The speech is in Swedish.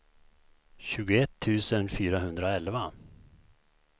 tjugoett tusen fyrahundraelva